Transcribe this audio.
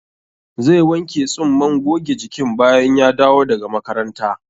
Zai wanke tsumman goge jikin bayan ya dawo daga makaranta?